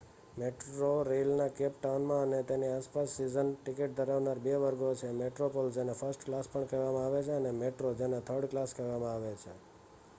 મેટ્રોરેઇલના કેપ ટાઉનમાં અને તેની આસપાસ સીઝન ટિકિટ ધરાવનાર બે વર્ગો છે: મેટ્રોપ્લસ જેને ફર્સ્ટ ક્લાસ પણ કહેવામાં આવે છે અને મેટ્રો જેને થર્ડ ક્લાસ કહેવામાં આવે છે